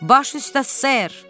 Baş üstə ser.